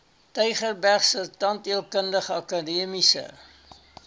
tygerbergse tandheelkundige akademiese